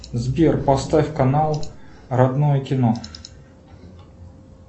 сбер поставь канал родное кино